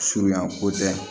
Surunyan ko tɛ